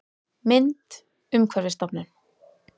Mynd: Umhverfisstofnun